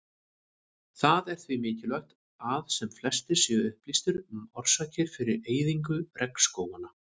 Það er því mikilvægt að sem flestir séu upplýstir um orsakir fyrir eyðingu regnskóganna.